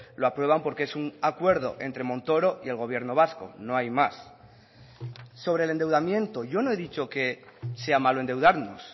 lo aprueban porque es un acuerdo entre montoro y el gobierno vasco no hay más sobre el endeudamiento yo no he dicho que sea malo endeudarnos